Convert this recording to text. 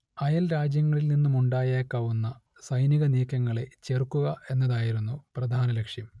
അയൽരാജ്യങ്ങളിൽ നിന്നുമുണ്ടായേക്കാവുന്ന സൈനികനീക്കങ്ങളെ ചെറുക്കുക എന്നതായിരുന്നു പ്രധാന ലക്ഷ്യം